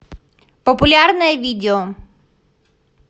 популярное видео